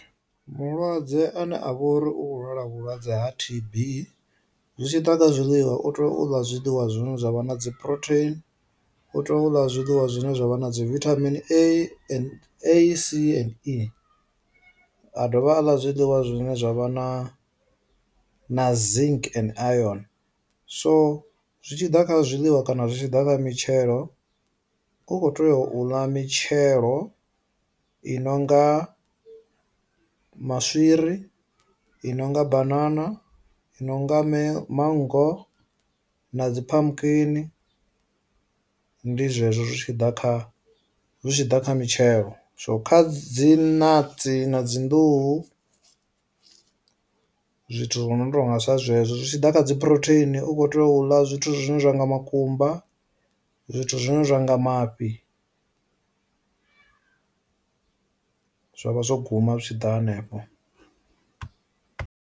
Mulwadze ane a vha uri u kho lwala vhulwadze ha T_B, zwi tshi ḓa kha zwiḽiwa u tea u ḽa zwiḽiwa zwine zwavha na dzi phurotheini, u tea u ḽa zwiḽiwa zwine zwavha na dzi vithamini A n A C n E, a dovha a ḽa zwiḽiwa zwine zwavha na na zink and ayoni, so zwi tshi ḓa kha zwiḽiwa kana zwi tshi ḓa kha mitshelo. Ukho tea u ḽa mitshelo i nonga maswiri, i nonga bafana, i no nga mme manngo na dzi phamukhini ndi zwezwo zwi tshi ḓa kha zwi tshi ḓa kha mitshelo, so kha dzi natsi na dzi nḓuhu zwithu zwo no tonga sa zwezwo, zwi tshi ḓa kha dzi phurotheini u kho tea u ḽa zwithu zwine zwa nga makumba, zwithu zwine zwa nga mafhi, zwa vha zwo guma zwi tshi ḓa hanefho.